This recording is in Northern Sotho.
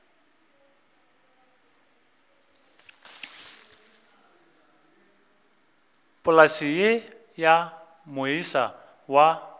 polase ye ya moisa wa